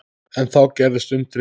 En þá gerðist undrið.